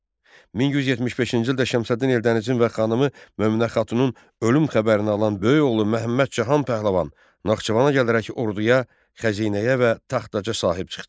1175-ci ildə Şəmsəddin Eldənizin və xanımı Möminə xatunun ölüm xəbərini alan böyük oğlu Məhəmməd Cahan Pəhləvan Naxçıvana gələrək orduya, xəzinəyə və taxt-taca sahib çıxdı.